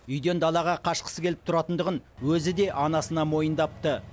үйден далаға қашқысы келіп тұратындығын өзі де анасына мойындапты